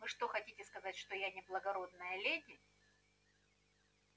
вы что хотите сказать что я не благородная леди